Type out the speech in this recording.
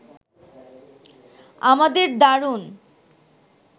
আমাদের দারুণ